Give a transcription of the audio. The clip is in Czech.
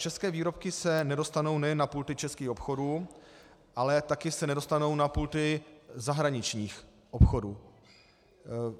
České výrobky se nedostanou nejen na pulty českých obchodů, ale taky se nedostanou na pulty zahraničních obchodů.